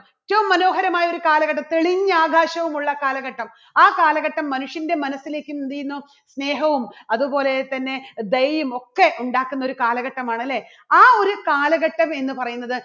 ഏറ്റവും മനോഹരമായ ഒരു കാലഘട്ടം തെളിഞ്ഞ ആകാശവുമുള്ള കാലഘട്ടം. ആ കാലഘട്ടം മനുഷ്യൻറെ മനസ്സിലേക്ക് എന്ത് ചെയ്യുന്നു? സ്നേഹവും അതുപോലെതന്നെ ദയയും ഒക്കെ ഉണ്ടാക്കുന്ന ഒരു കാലഘട്ടമാണ് അല്ലേ? ആ ഒരു കാലഘട്ടം എന്ന് പറയുന്നത്